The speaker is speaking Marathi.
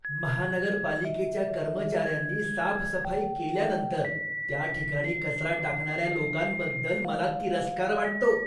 महानगरपालिकेच्या कर्मचाऱ्यांनी साफसफाई केल्यानंतर त्या ठिकाणी कचरा टाकणाऱ्या लोकांबद्दल मला तिरस्कार वाटतो.